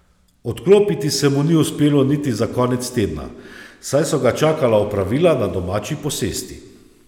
Odklopiti se mu ni uspelo niti za konec tedna, saj so ga čakala opravila na domači posesti.